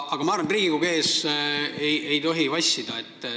Aga ma arvan, et Riigikogu ees ei tohi vassida.